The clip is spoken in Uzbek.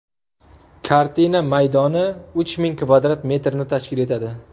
Kartina maydoni uch ming kvadrat metrni tashkil etadi.